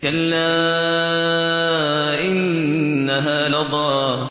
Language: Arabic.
كَلَّا ۖ إِنَّهَا لَظَىٰ